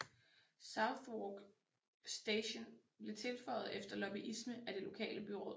Southwark Station blev tilføjet efter lobbyisme af det lokale byråd